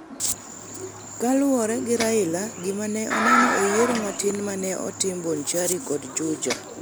Kaluwore gi Raila, gima ne oneno e yiero matin ma ne otim e Bonchari kod Juja